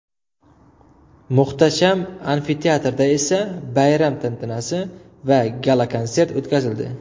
Muhtasham Amfiteatrda esa bayram tantanasi va gala-konsert o‘tkazildi.